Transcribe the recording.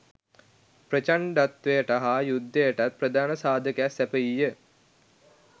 ප්‍රචණ්ඩත්වයට හා යුද්ධයටත් ප්‍රධාන සාධකයක් සැපයී ය